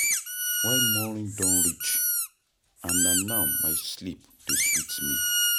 Why morning don reach? And na now my sleep dey sweet me.